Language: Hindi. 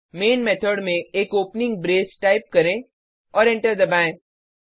मेन मेथड में एक ओपनिंग ब्रेस टाइप करें और एंटर करें